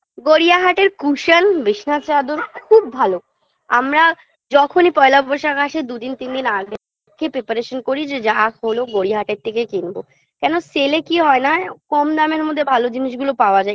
গড়িয়াহাটের cushion বিসনার চাদর খুব ভালো আমরা যখনই পয়লা বৈশাখ আসে দুদিন তিন দিন আগে থেকে preparation করি যে যা হল গড়িয়াহাটের থেকেই কিনবো কেন sale -এ কি হয় না কম দামের মধ্যে ভালো জিনিসগুলো পাওয়া যায়